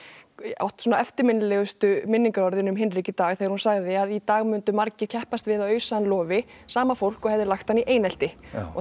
átt svona eftirminnilegustu minningarorðin um Hinrik í dag þegar hún sagði að í dag mundu margir keppast við að ausa hann lofi sama fólk og hefði lagt hann í einelti